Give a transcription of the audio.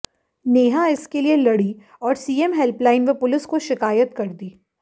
नेहा इसके लिए लड़ी और सीएम हेल्पलाइन व पुलिस को शिकायत कर दी